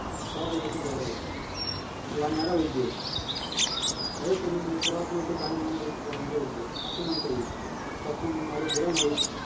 हवा प्रदूषित झाली आहे वाढणारा उद्योग वायू प्रदूषणाचे सर्वात मोठे कारण म्हणजे वाढणारा उद्योग असे म्हणता येईल त्यातून निघणाऱ्या धुरामुळे